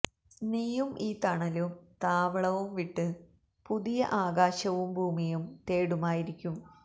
നീയും ഈ തണലും താവളവും വിട്ട് പുതിയ ആകാശവും ഭൂമിയും തേടുമായിരിക്കും